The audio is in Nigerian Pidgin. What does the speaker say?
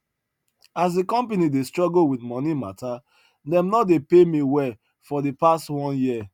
as de company dey struggle wit moni matta dem no dey pay me well for the past one year